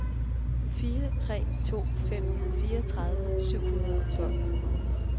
fire tre to fem fireogtredive syv hundrede og tolv